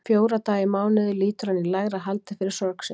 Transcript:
Fjóra daga í mánuði lýtur hann í lægra haldi fyrir sorg sinni.